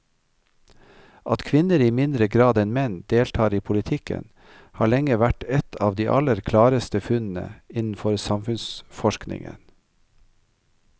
At kvinner i mindre grad enn menn deltar i politikken har lenge vært et av de aller klareste funnene innenfor samfunnsforskningen.